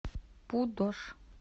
пудож